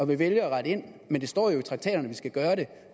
vi vælger at rette ind men der står jo i traktaterne at vi skal gøre det